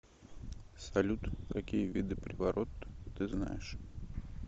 салют какие виды приворот ты знаешь